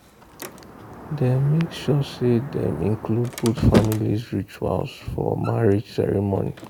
dem make sure say dem include both families' rituals for marriage ceremony.